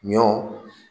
Ɲɔ